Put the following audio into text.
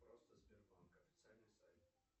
просто сбербанк официальный сайт